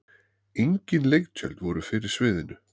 engin leiktjöld voru fyrir sviðinu